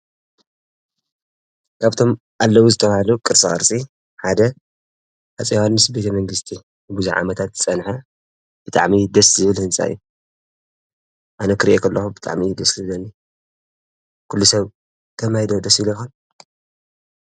ካብቶም ኣለዉ ዝተባሎ ቕርሣርፂ ሓደ ኣፀይዋንስ ቤተ መንግሥቲ ብዝዓመታት ጸንሐ ብጥዕሚይ ደስ ዝብ ል ሕንጻእይ ኣነ ክርእየኽ ኣለኹ ብጥዕሚዪ ድስሊ ደኒ ኲሉ ሰብ ተማይ ደወደስ ይለኻል?